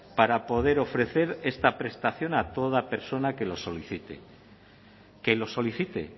para poder ofrecer esta prestación a toda persona que lo solicite que lo solicite